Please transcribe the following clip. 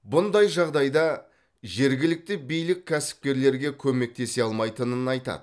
бұндай жағдайда жергілікті билік кәсіпкерлерге көмектесе алмайтынын айтады